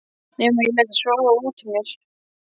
Nema ég léti soga út úr mér.